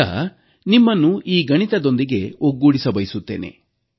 ಈಗ ನಿಮ್ಮನ್ನು ಈ ಗಣಿತದೊಂದಿಗೆ ಒಗ್ಗೂಡಿಸಬಯಸುತ್ತೇನೆ